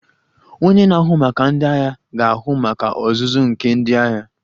Onye na-ahụ maka ndị agha ga-ahụ maka ọzụzụ nke ndị agha